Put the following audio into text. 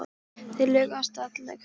Þeir lögðu af stað til Kaupmannahafnar.